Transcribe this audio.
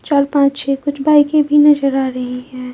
चार पांच छ कुछ बाइके भी नजर आ रही है।